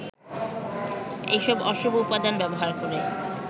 এসব অশুভ উপাদান ব্যবহার করে